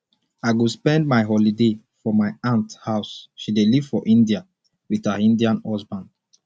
i go spend my holiday for my aunt house she dey live for india with her indian husband